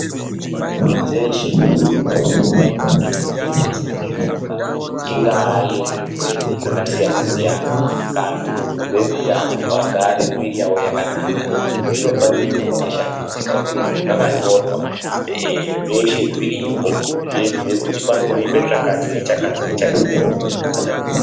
Nzvimbo dzeshe dzinoona nezvekutengesa mishonga, ingaa yezvirwere zvakasiyana siyana, kana kuti yemitandwa kuti igare miviri yavo yakanaka, zvinofanira kunge zvakashambidzika uye zvakanyorwa, zveshe zviripo, zveibhuya kuti panooneka chakati nechakati nechakati kuitira kuti pasaita matambudziko.